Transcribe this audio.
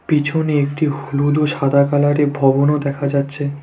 পিছনে একটি হলুদ ও সাদা কালারে ভবনও দেখা যাচ্ছে।